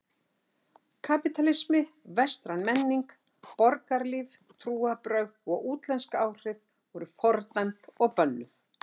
Kapítalismi, vestræn menning, borgarlíf, trúarbrögð og útlensk áhrif voru fordæmd og bönnuð.